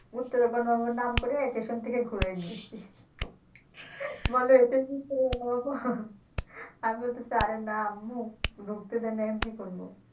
ঘুরতে যাওয়ার নাম করে স্টেশন থেকে ঘুরায় নিয়ে এসছি বলে এটা কি তোর আমি বলতেছি না আম্মু ঢুকতে দেয় নাই আমি কী করবো?